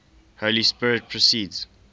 holy spirit proceeds